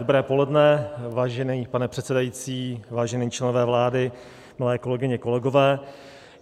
Dobré poledne, vážený pane předsedající, vážení členové vlády, milé kolegyně, kolegové.